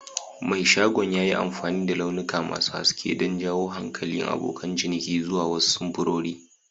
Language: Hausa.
Mai shagon ya yi amfani da launuka masu haske don jawo hankalin abokan ciniki zuwa wasu samfurori.